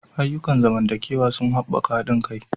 Ayyukan zamantakewa sun haɓaka haɗin kai.